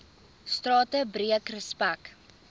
strate breek respek